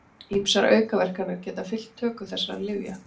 Ýmsar aukaverkanir geta fylgt töku þessara lyfja.